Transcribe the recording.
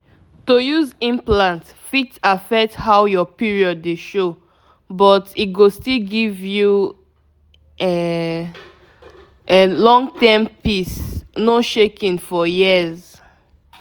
to use implant fit affect how your period dey show — but e go still give um um you long-term peace no shaking for years.